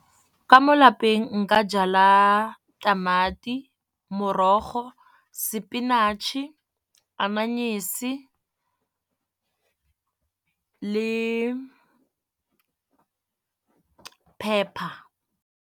Ka mo lapeng nka jala tamati morogo spinach-e anyenise le pepper.